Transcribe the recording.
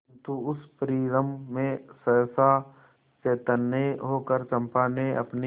किंतु उस परिरंभ में सहसा चैतन्य होकर चंपा ने अपनी